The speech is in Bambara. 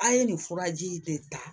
A' ye nin furaji de ta